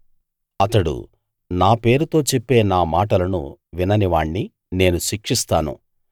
అతడు నా పేరుతో చెప్పే నా మాటలను విననివాణ్ణి నేను శిక్షిస్తాను